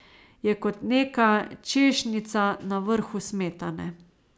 Je kot neka češnjica na vrhu smetane.